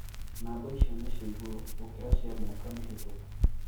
Namba icio ni cia igũrũ gũkira cia miaka mihitũku.